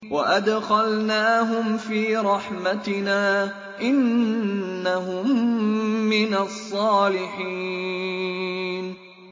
وَأَدْخَلْنَاهُمْ فِي رَحْمَتِنَا ۖ إِنَّهُم مِّنَ الصَّالِحِينَ